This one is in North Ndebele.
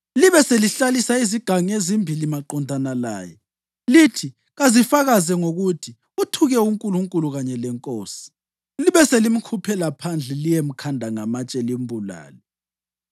Libe selihlalisa izigangi ezimbili maqondana laye lithi kazifakaze ngokuthi uthuke uNkulunkulu kanye lenkosi. Libe selimkhuphela phandle liyemkhanda ngamatshe limbulale.”